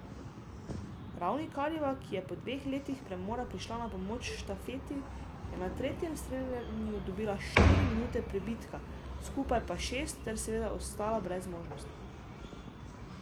Ravnikarjeva, ki je po dveh letih premora prišla na pomoč štafeti, je na tretjem streljanju dobila štiri minute pribitka, skupaj pa šest ter seveda ostala brez možnosti.